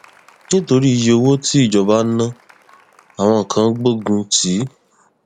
nítorí iyé owó tí ìjọba ná àwọn kan gbógun tì